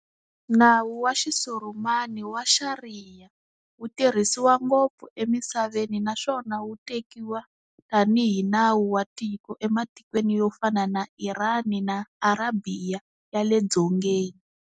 Nawu wa Xisurumani wa Xariya, wutirhisiwa ngopfu emisaveni naswona wutekiwa tani hi nawu wa tiko ematikweni yo fana na Irani na Arabhiya ya le Dzongeni.